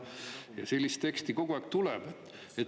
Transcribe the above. Ja sellist teksti kogu aeg tuleb.